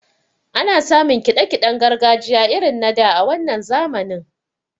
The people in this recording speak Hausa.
Ana samun kiɗa kiɗen gargajiya irin na da a wannan zamanin.